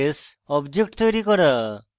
classes objects তৈরী করা